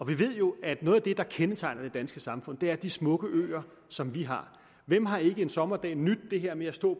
vi ved jo at noget af det der kendetegner det danske samfund er de smukke øer som vi har hvem har ikke en sommerdag nydt det her med at stå